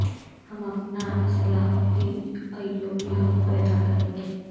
ہم اپنا Salahuddin Ayyubi خود پیدا کریں گے